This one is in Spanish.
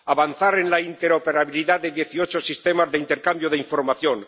avanzar en la interoperabilidad de dieciocho sistemas de intercambio de información